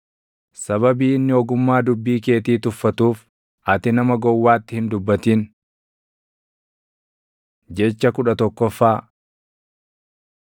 Sababii inni ogummaa dubbii keetii tuffatuuf ati nama gowwaatti hin dubbatin. Jecha kudha tokkoffaa